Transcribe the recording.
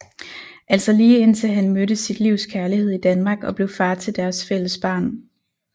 Altså lige indtil han mødte sit livs kærlighed i Danmark og blev far til deres fælles barn